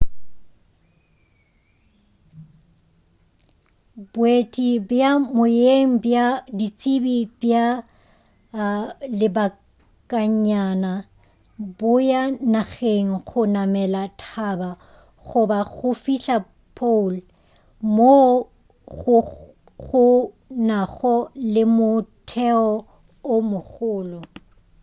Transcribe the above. boeti bja moyeng bja ditsebi bja lebakanyana bo ya nageng go namela thaba goba go fihla pole moo go nago le motheo o mogolo